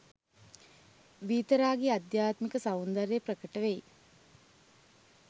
වීතරාගී අධ්‍යාත්මික සෞන්දර්යය ප්‍රකට වෙයි.